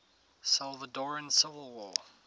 salvadoran civil war